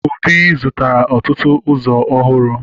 Obi zụtara ọtụtụ ụzọ ọhụrụ